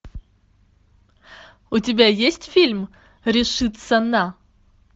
у тебя есть фильм решиться на